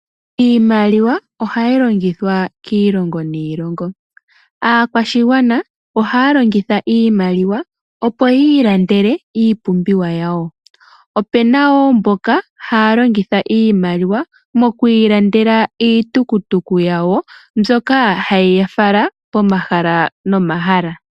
Iimaliwa ohayi longithwa kiilongo niilongo. Aakwashigwana ohaya longitha iimaliwa opo yi ilandele iipumbiwa yawo. Opuna wo mboka haya longitha iimaliwa moku ilandela iitukutuku yawo, mbyoka hayi ya fala pomahala nomahala.